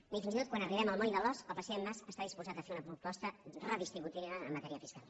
ni fins i tot quan arribem al moll de l’ós el president mas està disposat a fer una proposta redistributiva en matèria fiscal